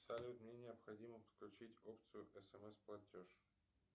салют мне необходимо подключить опцию смс платеж